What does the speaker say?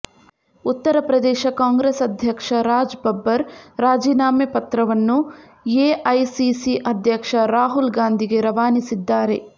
ಉತ್ತರ ಪ್ರದೇಶ ಕಾಂಗ್ರೆಸ್ ಅಧ್ಯಕ್ಷ ರಾಜ್ ಬಬ್ಬರ್ ರಾಜೀನಾಮೆ ಪತ್ರವನ್ನು ಎಐಸಿಸಿ ಅಧ್ಯಕ್ಷ ರಾಹುಲ್ ಗಾಂಧಿಗೆ ರವಾನಿಸಿದ್ದಾರೆ